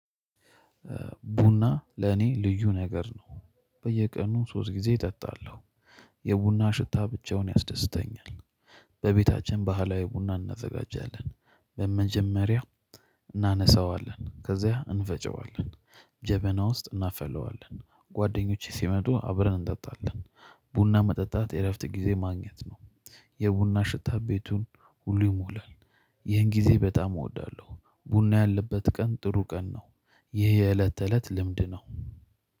ቡና ለኔ ልዩ ነገር ነው በየቀኑ ሶስት ጊዜ እጠጣለሁ። የቡና ሽታ ብቻውን ያስደስተኛል። በቤታችን ባህላዊ ቡና እናዘጋጃለን በመጀመሪያ እናነሳዋለን ከዛ እንፈጨዋለን። ጀበና ውስጥ እናፈለዋለን ጓደኞቼ ሲመጡ አብረን እንጠጣለን። ቡና መጠጣት የእረፍት ጊዜ ማግኘት ነው። የቡና ሽታ ቤቱን ሁሉ ይሞላል። ይሄን ጊዜ በጣም እወዳለሁ ቡና ያለበት ቀን ጥሩ ቀን ነው። ይሄ የእለት ተእለት ልምድ ነው